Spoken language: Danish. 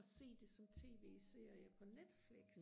og se det som tv serie på Netflix